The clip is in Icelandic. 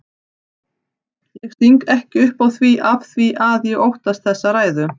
Ég sting ekki upp á því afþvíað ég óttast þessa ræðu.